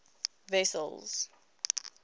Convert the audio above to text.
wessels